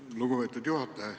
Aitäh, lugupeetud juhataja!